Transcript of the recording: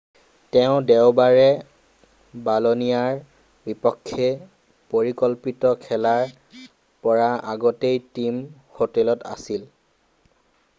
তেওঁ দেওবাৰে বলনিয়াৰ বিপক্ষে পৰিকল্পিত খেলৰ পৰা আগতেই টীম হোটেলত আছিল৷